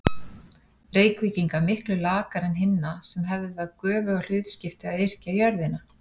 Reykvíkinga miklu lakari en hinna, sem hefðu það göfuga hlutskipti að yrkja jörðina.